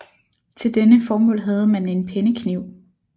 Til dette formål havde man en pennekniv